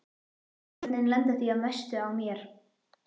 Börnin lenda því að mestu á mér.